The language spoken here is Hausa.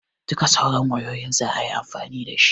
Duka sauran wayoyin zaayi amfani dashi